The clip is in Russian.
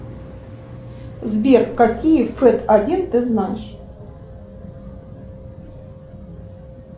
сбер какие фэт один ты знаешь